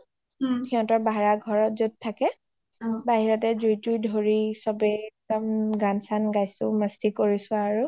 ও সিহতৰ ভাৰা ঘৰত য’ত থাকে অ বহিৰতে জুই টুই ধৰি চ’বে একদম গান চান গাইছো একদম মস্তি কৰিছো আৰু